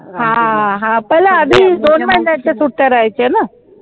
हा हा पहिला आधी दोन महिन्याच्या सुट्ट्या राहायच्या ना